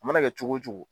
A mana kɛ cogo o cogo